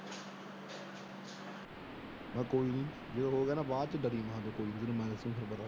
ਮੈ ਕਿਹਾ ਕੋਈ ਨਹੀਂ। ਜਦੋ ਜੋ ਗਿਆ ਨਾ ਬਾਅਦ ।